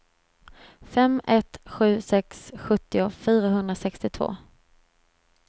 fem ett sju sex sjuttio fyrahundrasextiotvå